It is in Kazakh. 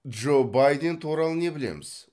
джо байден туралы не білеміз